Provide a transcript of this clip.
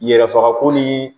Yɛrɛfagako ni